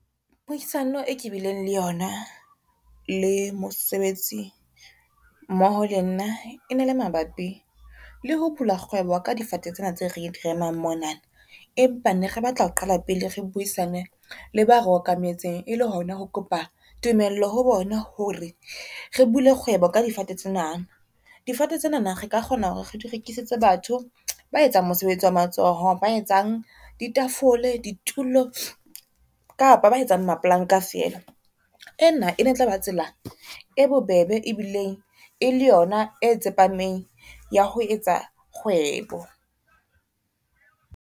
Puisano e ke bileng le yona le mosebetsi mmoho le nna ene le mabapi le ho bula kgwebo ka difate tsena tse re di remang mona, empa ne re batla ho qala pele re buisane le ba re okametseng e le hona ho kopa tumello ho bona hore re bule kgwebo ka difate tsena. Difate tsena na re ka kgona hore re di rekisetsa batho ba etsang mosebetsi wa matsoho ba etsang di tafole, ditulo kapa ba etsang mapolanka feela. Ena e ne tlaba tsela e bobebe e bileng e le yona e tsepameng ya ho etsa kgwebo.